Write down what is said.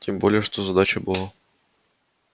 тем более что задача была